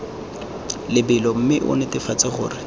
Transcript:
lebelo mme o netefatse gore